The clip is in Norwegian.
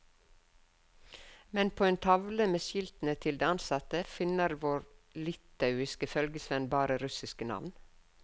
Men på en tavle med skiltene til de ansatte finner vår litauiske følgesvenn bare russiske navn.